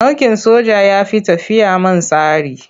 Mulkin soja ya fi tafiya man tsari.